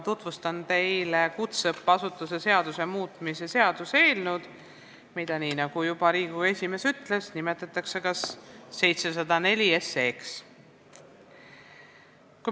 Tutvustan teile kutseõppeasutuse seaduse muutmise ja sellega seonduvalt teiste seaduste muutmise seaduse eelnõu, mida, nii nagu Riigikogu esimees ütles, nimetatakse 704 SE-ks.